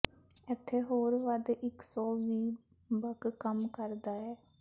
ਇੱਥੇ ਹੋਰ ਵੱਧ ਇੱਕ ਸੌ ਵੀਹ ਬਕ ਕੰਮ ਕਰਦਾ ਹੈ